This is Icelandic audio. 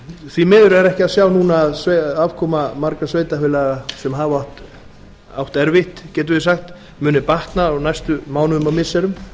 því miður er ekki að sjá núna að afkoma margra sveitarfélaga sem hafa átt erfitt getum við sagt muni batna á næstu mánuðum og missirum